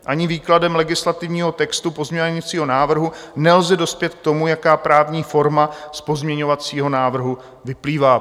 Ani výkladem legislativního textu pozměňovacího návrhu nelze dospět k tomu, jaká právní forma z pozměňovacího návrhu vyplývá.